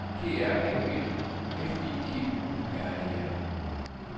G R A V F I G U R E R